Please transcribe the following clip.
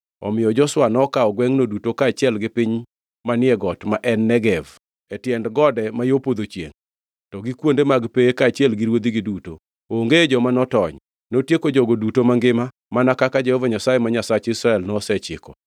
Omiyo Joshua nokawo gwengʼno duto kaachiel gi piny manie got ma en Negev, e tiend gode ma yo podho chiengʼ, to gi kuonde mag pewe kaachiel gi ruodhigi duto. Onge joma notony. Notieko jogo duto mangima, mana kaka Jehova Nyasaye, ma Nyasach Israel, nosechiko.